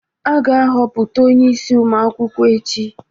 A ga-ahọpụta onye isi ụmụ akwụkwọ echi